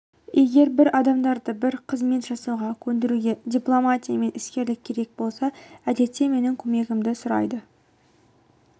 егер бір адамдарды бір қызмет жасауға көндіруге дипломатия мен іскерлік керек болса әдетте менің көмегімді сұрайды